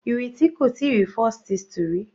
Ireti kò tíì rí falsethistle rí.